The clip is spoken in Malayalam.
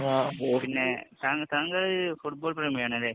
പിന്നെ താങ്കള്‍ ഫുട്ബോള്‍ പ്രേമിയാണല്ലേ.